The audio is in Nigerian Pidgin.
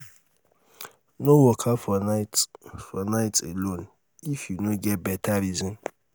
no waka for night for night alone if you no get beta reason